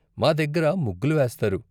మా దగ్గర ముగ్గులు వేస్తారు.